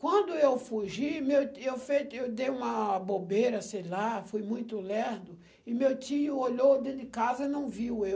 Quando eu fugi, meu e eu fe e eu dei uma bobeira, sei lá, fui muito lerdo, e meu tio olhou dentro de casa e não viu eu.